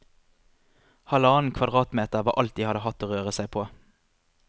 Halvannen kvadratmeter var alt de hadde hatt å røre seg på.